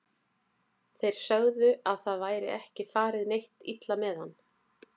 Þeir sögðu að það væri ekki farið neitt illa með hann.